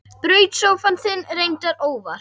Braut sófann þinn, reyndar óvart.